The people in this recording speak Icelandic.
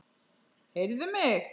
Heyrðu mig.